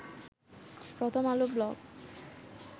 প্রথম আলো ব্লগ